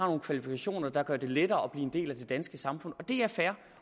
nogle kvalifikationer der gør det lettere at blive en del af det danske samfund det er fair